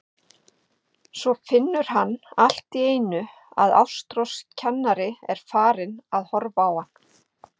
Svo finnur hann allt í einu að Ástrós kennari er farin að horfa á hann.